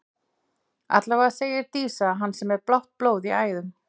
Allavega segir Dísa að hann sé með blátt blóð í æðum.